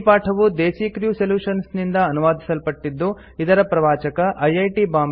ಈ ಪಾಠವು Desi Crew Solutions ನಿಂದ ಅನುವಾದಿಸಲ್ಪಟ್ಟಿದ್ದು ಇದರ ಪ್ರವಾಚಕ ಐಐಟಿ